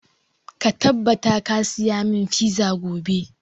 Ka tabbata ka saya mun fiza gobe!